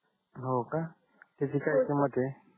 हो का त्याची काय किमत आहे हो सर